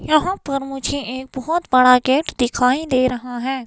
यहां पर मुझे एक बहुत बड़ा गेट दिखाई दे रहा है।